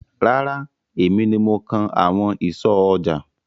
Rárá, èmi ni mo kan àwọn ìsọ̀ ọjà.